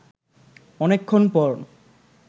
অনেকক্ষণ পর